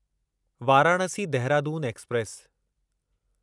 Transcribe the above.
Varanasi Dehradun express